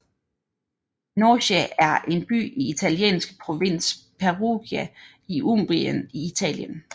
Norcia er en by i italienske provins Perugia i Umbrien i Italien